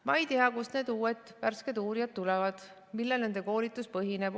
Ma ei tea, kust need uued värsked uurijad tulevad, millel nende koolitus põhineb.